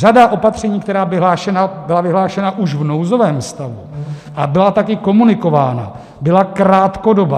Řada opatření, která byla vyhlášena už v nouzovém stavu a byla taky komunikována, byla krátkodobá.